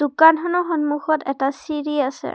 দোকানখনৰ সন্মুখত এটা চিৰি আছে।